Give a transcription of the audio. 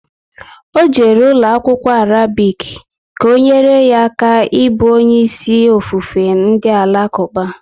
Ọ jere ụlọ akwụkwọ Arabic, ka ọ nyere ya aka n'ibu onye isi ofufe ndị alakuba